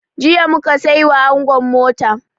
Jiya mu ka sai wa angon mota.